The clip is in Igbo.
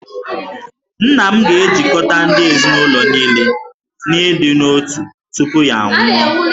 Nna m ga-ejikọta ndị ezinụlọ niile n'ịdị n'otu tupu ya anwụọ